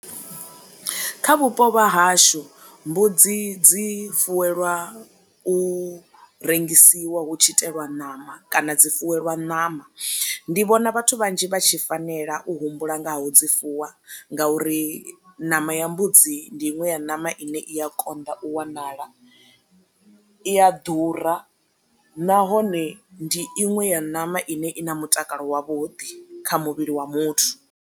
Kha vhupo vha hashu mbudzi dzi fuwelwa u rengisiwa hu tshi itelwa ṋama kana dzi fuwelwa ṋama, ndi vhona vhathu vhanzhi vha tshi fanela u humbula nga ho dzi fuwa ngauri ṋama ya mbudzi ndi iṅwe ya ṋama ine i ya konḓa u wanala, i a ḓura, nahone ndi iṅwe ya ṋama ine i na mutakalo wavhuḓi kha muvhili wa muthu.